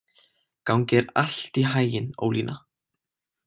Gangi þér allt í haginn, Ólína.